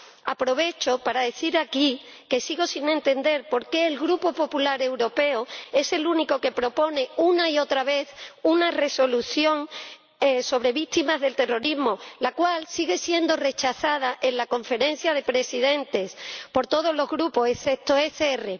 Aprovecho para decir aquí que sigo sin entender por qué el Grupo Popular Europeo es el único que propone una y otra vez una Resolución sobre víctimas del terrorismo, la cual sigue siendo rechazada en la Conferencia de Presidentes por todos los grupos excepto el ECR.